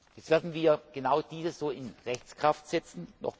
Jetzt werden wir genau diese so in Rechtskraft setzen.